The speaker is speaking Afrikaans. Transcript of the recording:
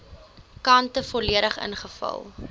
kante volledig ingevul